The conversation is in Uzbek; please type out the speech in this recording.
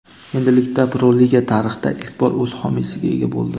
Endilikda Pro liga tarixda ilk bor o‘z homiysiga ega bo‘ldi.